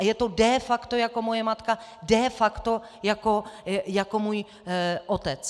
A je to de facto jako moje matka, de facto jako můj otec.